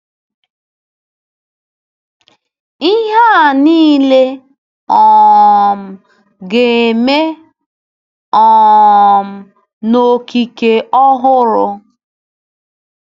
Ihe a nile um ga-eme um “n’okike ọhụrụ.”